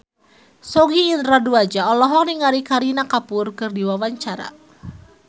Sogi Indra Duaja olohok ningali Kareena Kapoor keur diwawancara